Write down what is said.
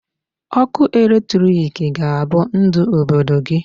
Ọkụ electric ga-abụ ndu Obodo gị.